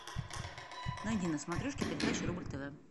найди на смотрешке передачу рубль тв